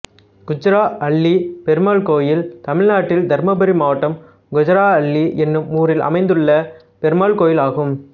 குஜ்ஜாரஅள்ளி பெருமாள் கோயில் தமிழ்நாட்டில் தர்மபுரி மாவட்டம் குஜ்ஜாரஅள்ளி என்னும் ஊரில் அமைந்துள்ள பெருமாள் கோயிலாகும்